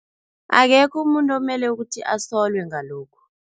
Akekho umuntu omele ukuthi asolwe ngalokhu.